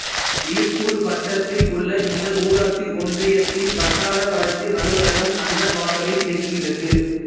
இலுப்பூர் வட்டத்தில் உள்ள இந்த ஊராட்சி ஒன்றியத்தின் வட்டார வளர்ச்சி அலுவலகம் அன்னவாசலில் இயங்குகிறது